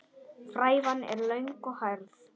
Frævan er löng og hærð.